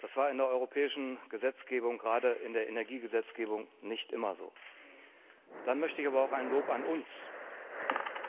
Das war in der europäischen Gesetzgebung, gerade in der Energiegesetzgebung, nicht immer so. Dann möchte ich aber auch ein Lob an uns